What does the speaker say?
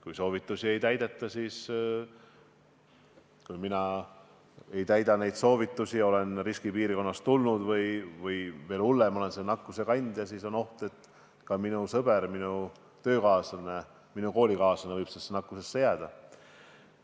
Kui soovitusi ei täideta, näiteks kui mina neid soovitusi ei täida ja olen riskipiirkonnast tulnud või, veel hullem, olen selle nakkuse kandja, siis on oht, et ka minu sõber, minu töökaaslane, minu koolikaaslane võib sellesse nakkusesse jääda.